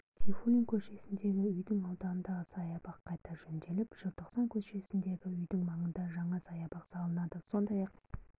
сейфуллин көшесіндегі үйдің ауданындағы саябақ қайта жөнделіп желтоқсан көшесіндегі үйдің маңында жаңа саябақ салынады сондай-ақ